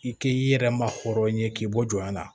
I k'i yɛrɛ ma hɔrɔn ye k'i bɔ jɔn na